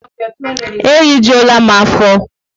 E rijuola m afo